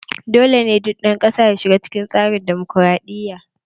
Dole ne dukkan ƴan kasa su shiga cikin tsarin damokaraɗiya!